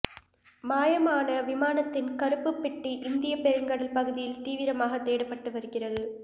மாயமான விமானத்தின் கறுப்புப் பெட்டி இந்தியப் பெருங்கடல் பகுதியில் தீவிரமாக தேடப்பட்டு வருகிறது